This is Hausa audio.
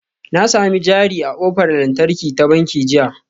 Na sami jari a ƙofar lantarki ta banki jiya